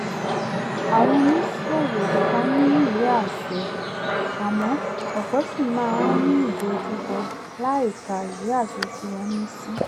àwọn oníṣòwò kan ní ìwé àṣẹ àmọ́ ọ̀pọ̀ ṣì máa ń ni ìdojúkọ láìka ìwé àṣẹ tí wọ́n ní sí